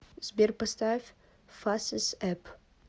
сбер поставь фасес эп